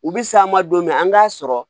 U bi s'a ma don min an k'a sɔrɔ